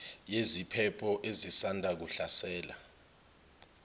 yeziphepho ezisanda kuhlasela